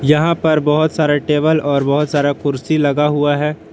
यहां पर बहुत सारे टेबल और बहुत सारा कुर्सी लगा हुआ है।